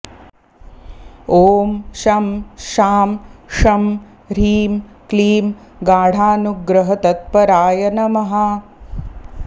ॐ शं शां षं ह्रीं क्लीं गाढानुग्रहतत्पराय नमः